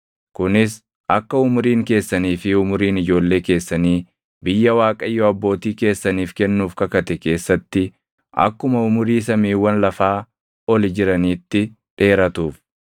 kunis akka umuriin keessanii fi umuriin ijoollee keessanii biyya Waaqayyo abbootii keessaniif kennuuf kakate keessatti akkuma umurii samiiwwan lafaa oli jiraniitti dheeratuuf.